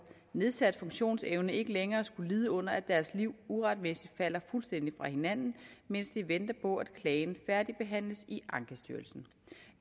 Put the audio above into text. nedsat funktionsevne ikke længere skulle lide under at deres liv uretmæssigt falder fuldstændig fra hinanden mens de venter på at klagen færdigbehandles i ankestyrelsen